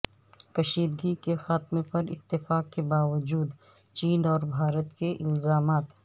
کشیدگی کے خاتمے پر اتفاق کے باوجود چین اور بھارت کے الزامات